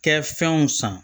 Kɛ fɛnw san